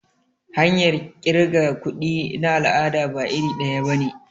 Hanyar kirga kuɗi na al'ada ba iri daya bane.